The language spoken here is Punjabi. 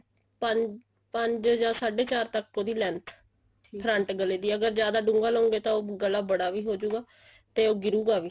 ਪਰ ਪੰਜ ਜਾ ਸਾਡੇ ਚਾਰ ਤੱਕ ਉਹਦੀ length front ਗਲੇ ਦੀ ਅਗਰ ਜਿਆਦਾ ਡੂੰਗਾ ਲਓਗੇ ਤਾਂ ਉਹ ਗਲਾ ਬੜਾ ਵੀ ਹੋਜੂਗਾ ਤੇ ਉਹ ਗਿਰੂਗਾ ਵੀ